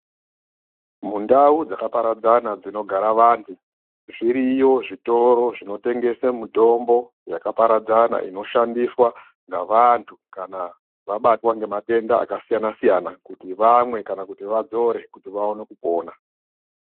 Mundau dzakaparadzana dzinogara vantu, zviriyo zvitoro zvinotengesa mitombo yakaparadzana inoshandiswa ngevantu kana vabatwa ngematenda akasiyana -siyana kuti vamwe kana kuti vadzore kuti vaone kupona.